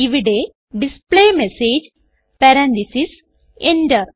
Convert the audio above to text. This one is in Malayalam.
ഇവിടെ ഡിസ്പ്ലേമെസേജ് പരന്തീസസ് Enter